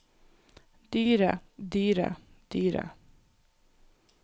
dyret dyret dyret